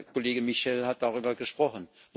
Kollege Michel hat darüber gesprochen.